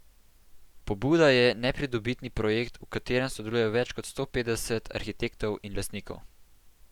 Pobuda je nepridobitni projekt, v katerem sodeluje več kot sto petdeset arhitektov in lastnikov.